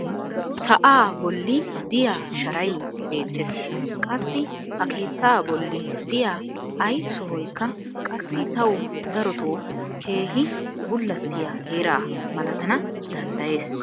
sa'aa bolli diya sharay beettees. Qassi ha keettaa bolli diya ay sohoykka qassi tawu darottoo keehi bullattiya heeraa malatana danddayees.